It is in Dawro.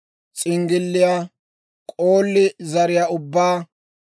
s'inggilliyaa, k'oolli zariyaa ubbaa,